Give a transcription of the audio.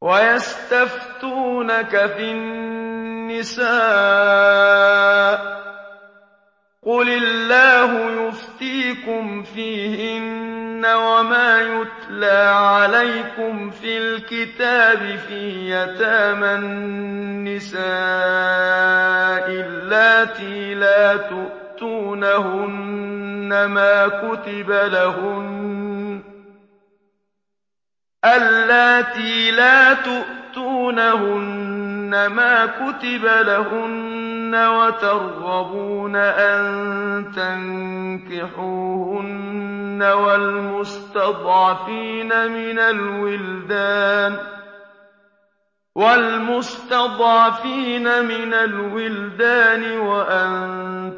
وَيَسْتَفْتُونَكَ فِي النِّسَاءِ ۖ قُلِ اللَّهُ يُفْتِيكُمْ فِيهِنَّ وَمَا يُتْلَىٰ عَلَيْكُمْ فِي الْكِتَابِ فِي يَتَامَى النِّسَاءِ اللَّاتِي لَا تُؤْتُونَهُنَّ مَا كُتِبَ لَهُنَّ وَتَرْغَبُونَ أَن تَنكِحُوهُنَّ وَالْمُسْتَضْعَفِينَ مِنَ الْوِلْدَانِ وَأَن